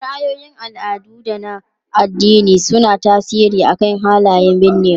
Ra'ayoyin al'adu da na addini suna tasiri akan halayen binnewa.